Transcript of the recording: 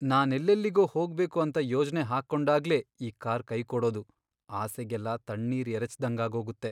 ನಾನೆಲ್ಲೆಲ್ಲಿಗೋ ಹೋಗ್ಬೇಕು ಅಂತ ಯೋಜ್ನೆ ಹಾಕೊಂಡಾಗ್ಲೇ ಈ ಕಾರ್ ಕೈಕೊಡೋದು ಆಸೆಗೆಲ್ಲ ತಣ್ಣೀರ್ ಎರೆಚ್ದಂಗಾಗೋಗತ್ತೆ.